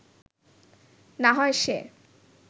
না হয় সে